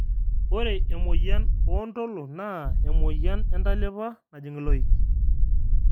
ore emoyian oontolo naa emoyian entalipa najing iloik